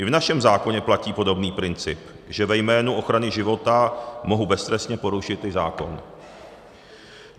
I v našem zákoně platí podobný princip, že ve jménu ochrany života mohu beztrestně porušit i zákon.